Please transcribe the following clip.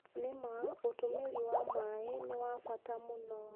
Nĩma ũtũmĩri wa maĩ nĩ bata mũno